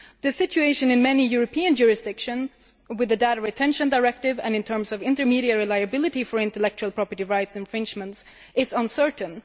The situation in many European jurisdictions with the Data Retention Directive and in terms of intermediary liability for intellectual property rights infringements is uncertain.